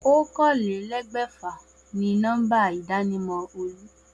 Oókanlelé̩gbè̩fà ni nó̩mbà ìdánimò̩ Olú